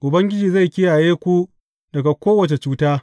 Ubangiji zai kiyaye ku daga kowace cuta.